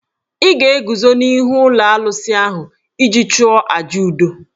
Ị ga-eguzo n'ihu ụlọ alụsị ahụ iji chụọ àjà udo.